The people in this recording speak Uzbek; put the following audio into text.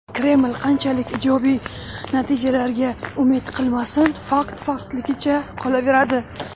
Kreml qanchalik ijobiy natijalarga umid qilmasin, fakt faktligicha qolaveradi.